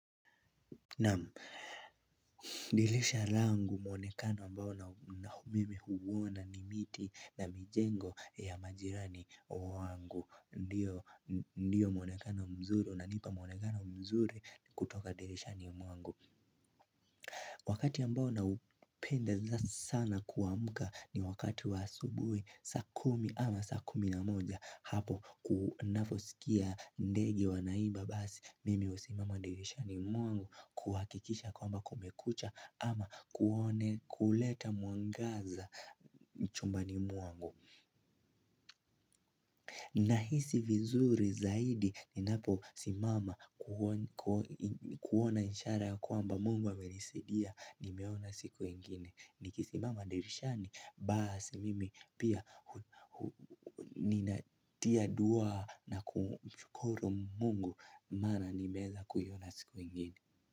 Na dirisha langu muonekano ambao na mimi huona ni miti na mijengo ya majirani wangu. Ndiyo mwonekano mzuri unanipa muonekano mzuri kutoka dirishani mwangu. Wakati ambao na upenda sana kuamka ni wakati wa asubuhi saa kumi ama saa kumi na moja. Hapo ninavyosikia ndege wanaimba basi mimi usimama dirishani mwangu kuhakikisha kwamba kumekucha ama kuone kuleta mwangaza chumbani mwangu. Nahisi vizuri zaidi ni napo simama kuona ishara kwamba mungu amenisidia nimeona siku ingine. Nikisimama dirishani, basi mimi pia ninatia dua na kumshukuru mungu. Mana nimeweza kuona siku ingine.